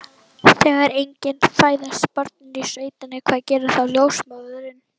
Þegar engin fæðast börnin í sveitinni, hvað gerir þá ljósmóðirin?